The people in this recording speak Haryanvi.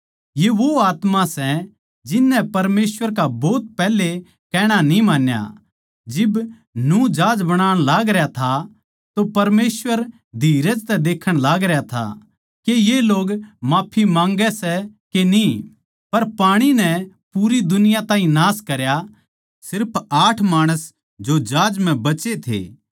ये वो आत्मा सै जिननै परमेसवर का भोत पैहले कहणा न्ही मान्या जिब नूह जहाज बणाण लागरया था तो परमेसवर धीरज तै देखण लागरया था के ये लोग माफी माँग्गै सै के न्ही पर पाणी नै पूरी दुनिया ताहीं नाश करया सिर्फ आठ माणस जो जहाज म्ह बचे थे